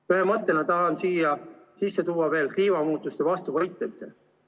Ühe mõttena tahan siia sisse tuua veel kliimamuutuste vastu võitlemise.